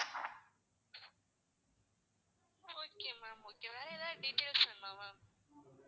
okay ma'am okay வேற ஏதாவது details வேணுமா ma'am